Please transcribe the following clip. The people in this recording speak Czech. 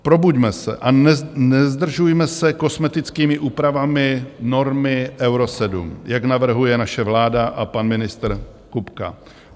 Probuďme se a nezdržujme se kosmetickými úpravami normy Euro 7, jak navrhuje naše vláda a pan ministr Kupka.